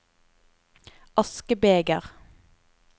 askebeger